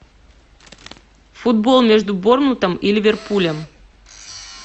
футбол между борнмутом и ливерпулем